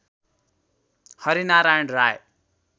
Harinarayan Rai